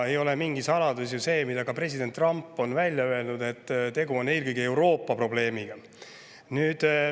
Ei ole mingi saladus see, et ka president Trump on välja öelnud, et tegu on eelkõige Euroopa probleemiga.